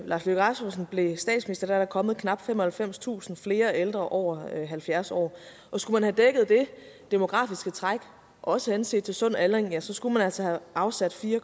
lars løkke rasmussen blev statsminister er der kommet knap femoghalvfemstusind flere ældre over halvfjerds år og skulle man have dækket det demografiske træk også henset til sund aldring så skulle man altså have afsat fire